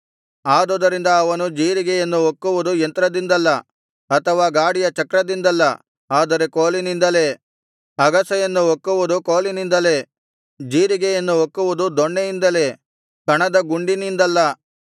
ಆದುದರಿಂದ ಅವನು ಜೀರಿಗೆಯನ್ನು ಒಕ್ಕುವುದು ಯಂತ್ರದಿಂದಲ್ಲ ಅಥವಾ ಗಾಡಿಯ ಚಕ್ರದಿಂದಲ್ಲ ಆದರೆ ಕೋಲಿನಿಂದಲೇ ಅಗಸೆಯನ್ನು ಒಕ್ಕುವುದು ಕೋಲಿನಿಂದಲೇ ಜೀರಿಗೆಯನ್ನು ಒಕ್ಕುವುದು ದೊಣ್ಣೆಯಿಂದಲೇ ಕಣದ ಗುಂಡಿನಿಂದಲ್ಲ